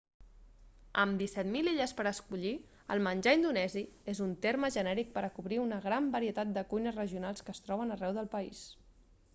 amb 17.000 illes per escollir el menjar indonesi és un terme genèric per a cobrir una gran varietat de cuines regionals que es troben arreu del país